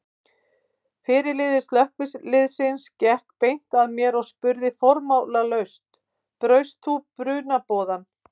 Fyrirliði slökkviliðsins gekk beint að mér og spurði formálalaust: Braust þú brunaboðann?